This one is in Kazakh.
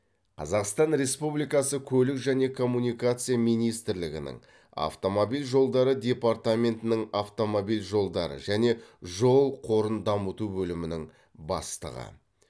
қазақстан республикасы көлік және коммуникация министрлігінің автомобиль жолдары департаментінің автомобиль жолдары және жол қорын дамыту бөлімінің бастығы